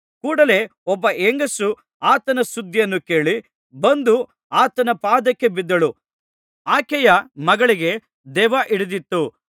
ಕೂಡಲೆ ಒಬ್ಬ ಹೆಂಗಸು ಆತನ ಸುದ್ದಿಯನ್ನು ಕೇಳಿ ಬಂದು ಆತನ ಪಾದಕ್ಕೆ ಬಿದ್ದಳು ಆಕೆಯ ಮಗಳಿಗೆ ದೆವ್ವ ಹಿಡಿದಿತ್ತು